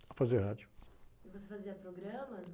A fazer rádio. você fazia programas?